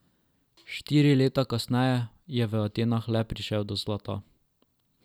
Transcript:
Štiri leta kasneje je v Atenah le prišel do zlata.